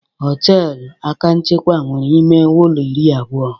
Họtelu Akanchawa nwere ime ụlọ iri abụọ.